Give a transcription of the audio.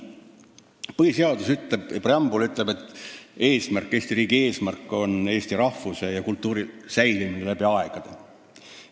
Põhiseaduse preambul ütleb, et Eesti riigi eesmärk on eesti rahvuse ja kultuuri säilimine läbi aegade.